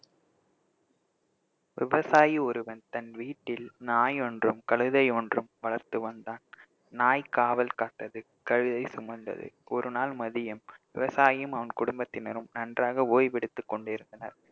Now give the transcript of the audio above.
விவசாயி ஒருவன் தன் வீட்டில் நாய் ஒன்றும் கழுதை ஒன்றும் வளர்த்து வந்தான் நாய் காவல் காத்தது கழுதை சுமந்தது ஒரு நாள் மதியம் விவசாயியும் அவன் குடும்பத்தினரும் நன்றாக ஓய்வெடுத்துக் கொண்டிருந்தனர்